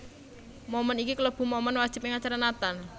Moment iki kalebu momen wajib ing acara Natal